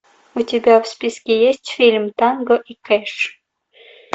у тебя в списке есть фильм танго и кэш